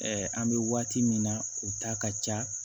an bɛ waati min na u ta ka ca